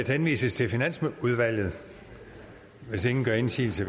henvises til finansudvalget hvis ingen gør indsigelse